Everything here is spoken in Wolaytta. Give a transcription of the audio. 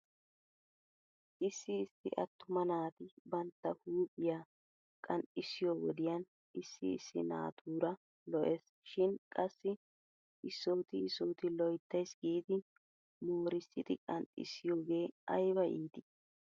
Issi issi attuma naati bantta huuphphiyaa qanxxissiyoo wodiyan issi issi naatuura lo'es shin qassi isooti isooti loyttays giidi moorissidi qanxxissiyoogee ayba iitii!